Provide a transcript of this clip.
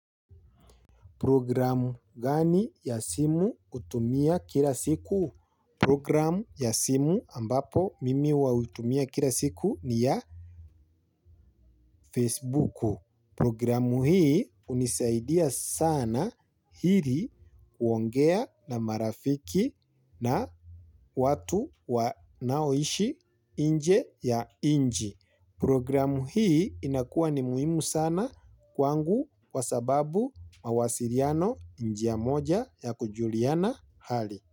Program gani ya simu hutumia kila siku? Program ya simu ambapo mimi hutumia kila siku ni ya Facebuku. Programu hii hunisaidia sana ili kuongea na marafiki na watu wanaoishi inje ya inji. Programu hii inakuwa ni muhimu sana kwangu kwa sababu mawasiliano ni njia moja ya kujuliana hali.